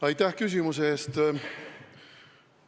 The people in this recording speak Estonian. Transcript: Aitäh küsimuse eest!